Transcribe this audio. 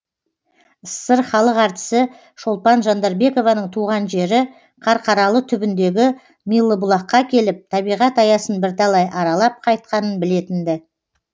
ссср халық артисі шолпан жандарбекованың туған жері қарқаралы түбіндегі милыбұлаққа келіп табиғат аясын бірталай аралап қайтқанын білетін ді